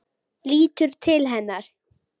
Lítur til hennar.